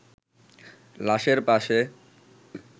লাশের পাশে